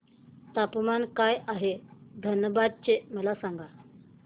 तापमान काय आहे धनबाद चे मला सांगा